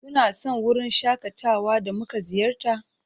Kuna son wurin shakatawa da muka ziyarta?